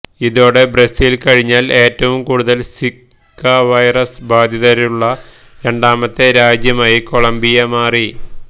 ഇതോടെ ബ്രസീല് കഴിഞ്ഞാല് ഏറ്റവും കൂടുതല് സിക വൈറസ് ബാധിതരുള്ള രണ്ടാമത്തെ രാജ്യമായി കൊളംബിയ മാറി